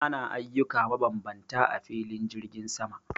Ana ayyuka mabambanta a filin jirgin sama